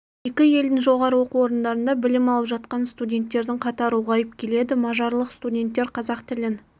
екі елдің жоғары оқу орындарында білім алып жатқан студенттердің қатары ұлғайып келеді мажарлық студенттер қазақ тілін